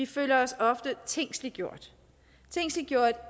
føler sig tingsliggjort